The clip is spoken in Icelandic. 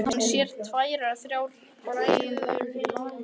Hann sér tvær eða þrjár hræður híma álengdar.